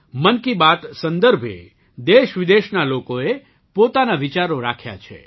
મન કી બાત સંદર્ભે દેશવિદેશના લોકોએ પોતાના વિચારો રાખ્યા છે